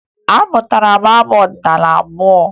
Amụtara m abụ ọdịnaala abụọ